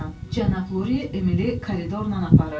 Cənab Lurie Emili koridorla aparırdı.